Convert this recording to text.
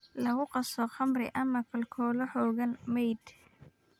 Lagu qaso khamri ama aalkolo xooggan (mead).